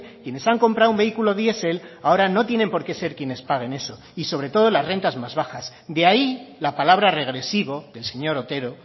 quienes han comprado un vehículo diesel no tienen por qué ser quienes paguen eso y sobre todo las rentas más bajas de ahí la palabra regresivo del señor otero